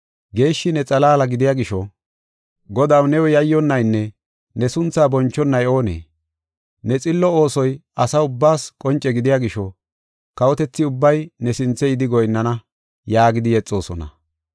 Geeshshi ne xalaala gidiya gisho, Godaw, new yayyonnaynne ne sunthaa bonchonay oonee? Ne xillo oosoy asa ubbaas qonce gidiya gisho, kawotethi ubbay ne sinthe yidi goyinnana” yaagidi yexoosona.